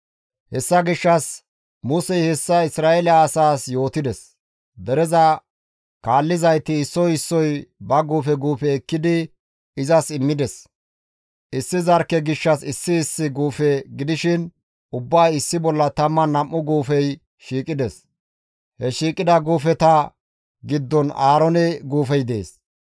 Hessa gishshas Musey hessa Isra7eele asaas yootides; dereza kaallizayti issoy issoy ba guufe guufe ekkidi izas immides; issi zarkke gishshas issi issi guufe gidishin ubbay issi bolla 12 guufey shiiqides; he shiiqida guufeta giddon Aaroone guufey dees.